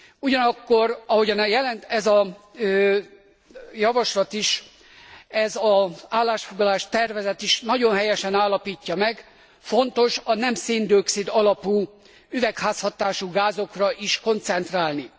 Ugyanakkor, ahogyan ez a javaslat is, ez az állásfoglalás tervezet is nagyon helyesen állapítja meg, fontos a nem szén dioxid alapú üvegházhatású gázokra is koncentrálni.